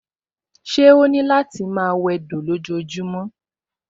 Ṣé ó ní lò máa wẹdò lójojúmọ́?